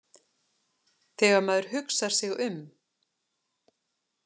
Þegar maður hugsar sig um.